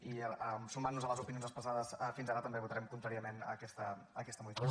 i sumant nos a les opinions expressades fins ara també votarem contràriament a aquesta modificació